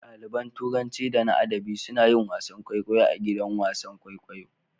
Ɗaliban turanci da na adabi suna yin wasan kwaikwayo a gidan wasan kwaikwayo.